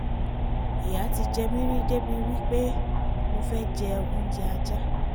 ìyà ti jẹ mí rí débi wí pé mo fẹ́ jẹ oúnjẹ ajá